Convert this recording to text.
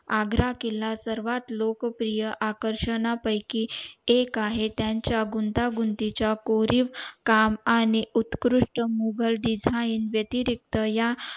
आग्रा किल्ला सर्वात लोकप्रिय आकर्षण पयकी एक आहे त्याच्या गुंतागुंती च्या कोरीव काम आणि उत्कृष्ट मुघल design वेतेरिक्त या